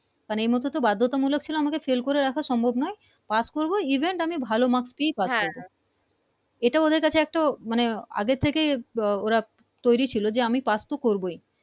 মানে এই মুহুতে তো বাধ্যতামুলোক ছিলো আমাকে Fail করে রাখার সম্ভব নয় Pass করবো Even আমি ভালো Marks পেয়ে পাস্ করবো এটা ওদের কাছে একটা মানে আগে থেকে ওরা তৈরি ছিলো যে আমি Pass তো করবোই